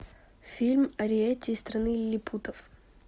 фильм ариэтти из страны лилипутов